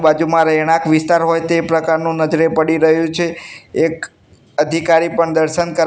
બાજુમાં રહેણાંક વિસ્તાર હોય તે પ્રકારનું નજરે પડી રહ્યુ છે એક અધિકારી પણ દર્શન કર--